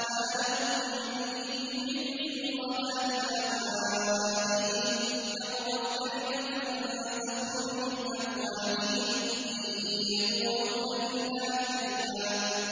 مَّا لَهُم بِهِ مِنْ عِلْمٍ وَلَا لِآبَائِهِمْ ۚ كَبُرَتْ كَلِمَةً تَخْرُجُ مِنْ أَفْوَاهِهِمْ ۚ إِن يَقُولُونَ إِلَّا كَذِبًا